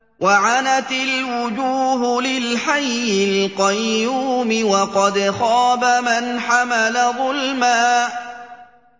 ۞ وَعَنَتِ الْوُجُوهُ لِلْحَيِّ الْقَيُّومِ ۖ وَقَدْ خَابَ مَنْ حَمَلَ ظُلْمًا